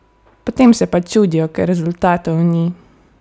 Potem se pa čudijo, ker rezultatov ni!